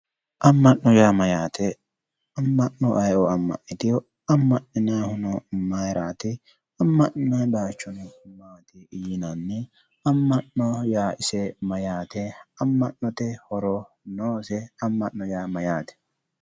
Ama'no yaa maayate, ama'no ayeeo ama'nitino, ama'ninnayihuno mayrati, ama'ninnayi bayichono maati yinnanni, ama'no yaa ise maayate, ama'note horo noose, ama'no yaa maayate?.